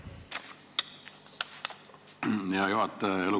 Hea juhataja!